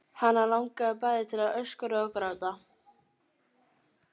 Hana langaði bæði til að öskra og gráta.